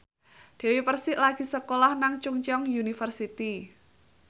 Dewi Persik lagi sekolah nang Chungceong University